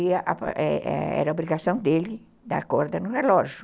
E é é era obrigação dele dar corda no relógio.